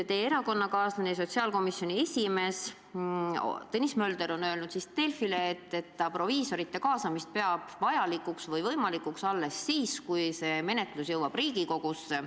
Teie erakonnakaaslane, sotsiaalkomisjoni esimees Tõnis Mölder on aga öelnud Delfile, et proviisorite kaasamist peab ta vajalikuks või võimalikuks alles siis, kui menetlus jõuab Riigikogusse.